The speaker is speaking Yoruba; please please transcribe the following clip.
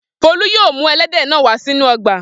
Folú yóò mú ẹlẹ́dẹ̀ náà wá sínú ọgbà.